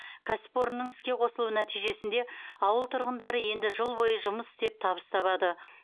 кәсіпорынның іске қосылуы нәтижесінде ауыл тұрғындары енді жыл бойы жұмыс істеп табыс табады